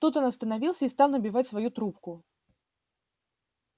тут он остановился и стал набивать свою трубку